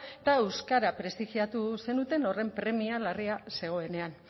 eta euskara prestigiatu zenuten horren premia larria zegoenean